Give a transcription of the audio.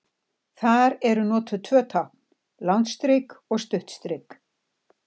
Þar eru notuð tvö tákn, langt strik og stutt strik.